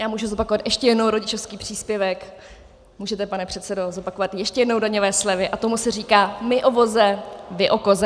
Já můžu zopakovat ještě jednou rodičovský příspěvek, můžete, pane předsedo, zopakovat ještě jednou daňové slevy, a tomu se říká my o voze, vy o koze.